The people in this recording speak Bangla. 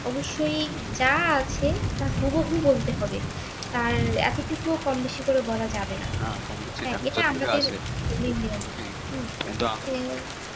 অবশ্যই যা আছে তার হুবহু বলতে হবে তার এতটুকু ও কম বেশি করে বলা যাবে না এইটা আমাদের ধর্মের নিয়ম হ্যাঁ